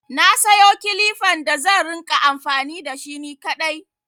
Na sayo kilifan da zan rinƙa amfani da shi ni kaɗai.